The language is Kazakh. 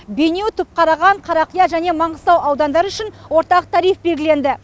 бейнеу түпқараған қарақия және маңғыстау аудандары үшін ортақ тариф белгіленді